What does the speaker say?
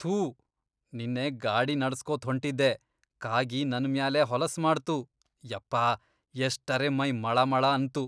ಥೂ ನಿನ್ನೆ ಗಾಡಿ ನಡಸ್ಕೋತ್ ಹೊಂಟಿದ್ದೆ ಕಾಗಿ ನನ್ ಮ್ಯಾಲೇ ಹೊಲಸ್ ಮಾಡ್ತು ಯಪ್ಪಾ ಎಷ್ಟರೆ ಮೈ ಮಳಮಳ ಅಂತು.